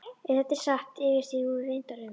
Ef þetta er satt sem ég efast nú reyndar um.